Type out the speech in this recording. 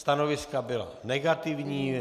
Stanoviska byla negativní.